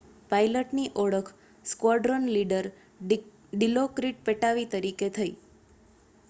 પાઇલટની ઓળખ squadron leader Dilokrit Pattavee તરીકે થઈ